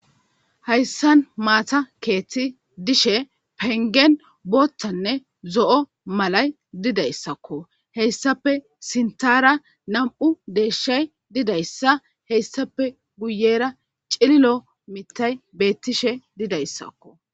Hayssan maata keeththi dishe pengen booththanne zo'o malay dida issakko. Hayssape sinthara nam'u deeshshay dida issa. Hayssape guyera cililo mithay beettishe dida issakko.